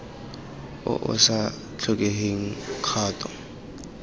o o sa tlhokeng kgato